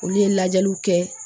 Olu ye lajɛliw kɛ